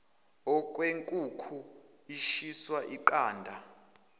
okwenkukhu ishiswa yiqanda